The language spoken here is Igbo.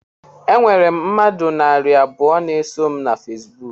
Enwere m mmadụ narị abụọ na-eso m na Fesibuku